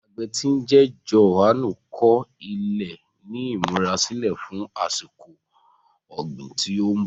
Àgbẹ tí ń jẹ́ Jòhánù kọ ilẹ̀ ní ìmúra sílẹ̀ fún àsìkò ọ̀gbìn tí ń bọ̀.